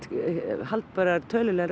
haldbærar tölulegar